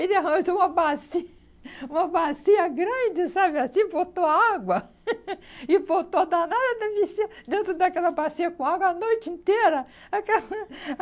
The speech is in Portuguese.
(Ri enquanto) Ele arranjou uma baci, uma bacia grande, sabe assim, botou água e botou a danada da bichinha dentro daquela bacia com água a noite inteira.